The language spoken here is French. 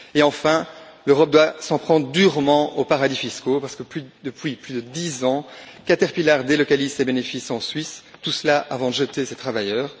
Et, enfin, l'Europe doit s'en prendre durement aux paradis fiscaux parce que, depuis plus de dix ans, Caterpillar délocalise ses bénéfices en Suisse, tout cela avant de jeter ses travailleurs.